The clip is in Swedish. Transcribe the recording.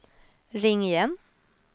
ring igen